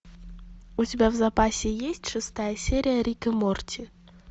у тебя в запасе есть шестая серия рик и морти